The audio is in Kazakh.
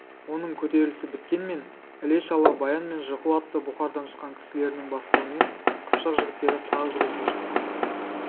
оның көтерілісі біткенмен іле-шала баян мен жықу атты бұқарадан шыққан кісілерінің бастауымен қыпшақ жігіттері тағы күреске шықты